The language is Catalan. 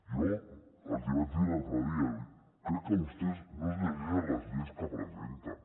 jo els hi vaig dir l’altre dia crec que vostès no es llegeixen les lleis que presenten